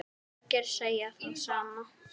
Margir segja það sama.